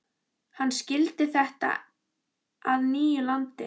Hann skyldi gera þetta að nýju landi.